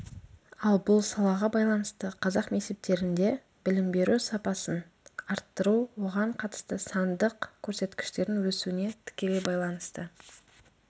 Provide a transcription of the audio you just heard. ал бұл салаға байланысты қазақ мектептерінде білім беру сапасын арттыру оған қатысты сандық көрсеткіштердің өсуіне тікелей байланысты